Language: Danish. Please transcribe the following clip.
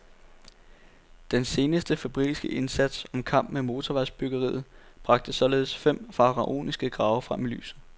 Den senest febrilske indsats om kap med motorvejsbyggeriet bragte således fem faraoniske grave frem i lyset.